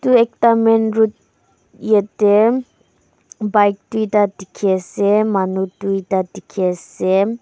ekta main road yate bike doita dekhi ase manu doita dekhi asem.